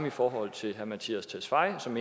i forhold til herre mattias tesfaye som